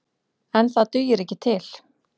En það dugir ekki til.